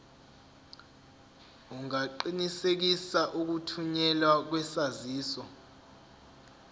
ungaqinisekisa ukuthunyelwa kwesaziso